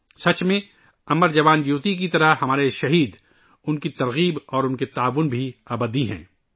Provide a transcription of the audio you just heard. حقیقت میں ، 'امر جوان جیوتی ' کی طرح ہمارے شہید ، ان کی تحریک اور ان کا تعاون بھی امر ہے